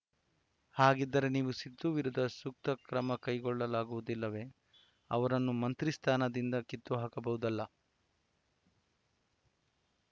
ಹಾಗಿದ್ದರೆ ನೀವು ಸಿಧು ವಿರುದ್ಧ ಶಿಸ್ತುಕ್ರಮ ಕೈಗೊಳ್ಳಲಾಗುವುದಿಲ್ಲವೇ ಅವರನ್ನು ಮಂತ್ರಿ ಸ್ಥಾನದಿಂದ ಕಿತ್ತುಹಾಕಬಹುದಲ್ಲ